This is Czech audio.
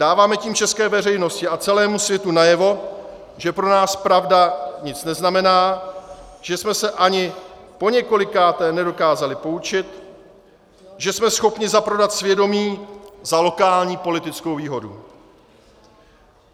Dáváme tím české veřejnosti a celému světu najevo, že pro nás pravda nic neznamená, že jsme se ani po několikáté nedokázali poučit, že jsme schopni zaprodat svědomí za lokální politickou výhodu.